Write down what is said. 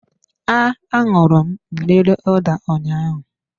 A aṅụru m mmiri ụda ụnyaahụ